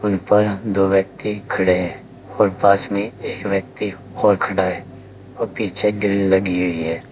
ऊपर दो व्यक्ति खड़े हैं और पास में एक व्यक्ति और खड़ा है और पीछे ग्रिल लगी हुई है।